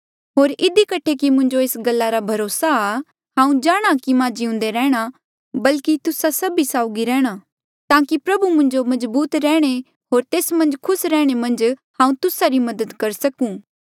होर इधी कठे कि मुंजो एस गल्ला रा भरोसा आ हांऊँ जाणहां कि मां जिउंदा रैंह्णां बल्की तुस्सा सभी साउगी रैंह्णां ताकि प्रभु मन्झ मजबूत रैहणें होर तेस मन्झ खुस रैहणें मन्झ हांऊँ तुस्सा री मदद करी सकूं